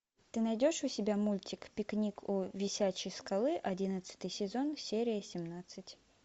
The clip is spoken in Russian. ты найдешь у себя мультик пикник у висячей скалы одиннадцатый сезон серия семнадцать